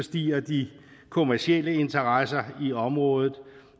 stiger de kommercielle interesser i området